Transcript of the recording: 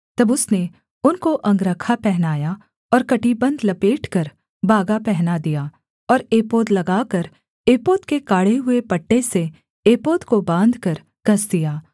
तब उसने उनको अंगरखा पहनाया और कमरबन्ध लपेटकर बागा पहना दिया और एपोद लगाकर एपोद के काढ़े हुए पट्टे से एपोद को बाँधकर कस दिया